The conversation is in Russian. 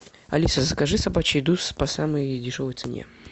алиса закажи собачью еду по самой дешевой цене